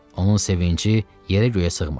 Onun sevinci yerə-göyə sığmırdı.